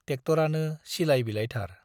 टेक्ट'रानो सिलाइ बिलाइथार ।